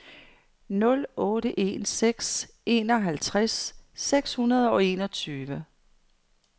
nul otte en seks enoghalvtreds seks hundrede og enogtyve